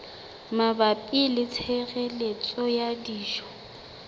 mabapi le tshireletso ya dijo